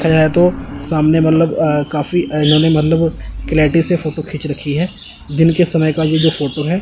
कहें तो सामने मतलब अ काफी अजनबी मतलब क्लॅटी से फोटो खींच रखी हैं दिन के समय का ये जो फोटो हैं।